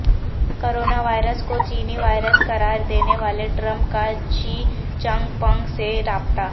coronavirus کو چینی virus قرار دینے والے ٹرمپ کا شی چنگ پنگ سے رابطہ